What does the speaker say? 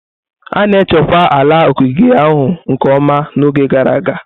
A na-echekwa ala ogige ahụ nke ọma n'oge gara aga.